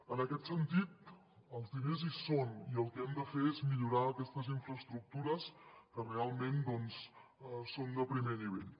en aquest sentit els diners hi són i el que hem de fer és millorar aquestes infraestructures que realment doncs són de primer nivell